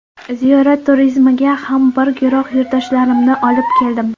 Ziyorat turizmiga ham bir guruh yurtdoshlarimni olib keldim.